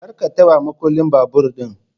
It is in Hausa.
kar ka taba makullin babur din.